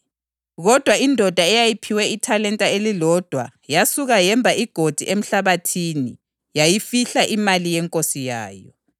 Kodwa indoda eyayiphiwe ithalenta elilodwa yasuka yemba igodi emhlabathini yayifihla imali yenkosi yayo.